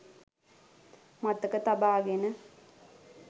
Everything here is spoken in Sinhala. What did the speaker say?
මතක තබාගෙන